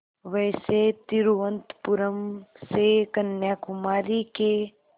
वैसे तिरुवनंतपुरम से कन्याकुमारी के